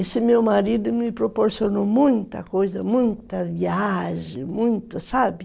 Esse meu marido me proporcionou muita coisa, muita viagem, muita, sabe?